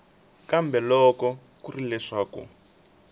kambe loko ku ri leswaku